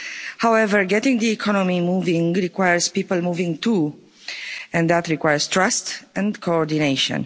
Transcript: However, getting the economy moving requires people moving too, and that requires trust and coordination.